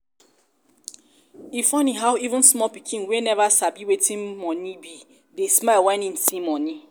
e funny how even small pikin wey never sabi wetin money be dey smile when im see money